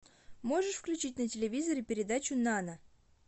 можешь включить на телевизоре передачу нано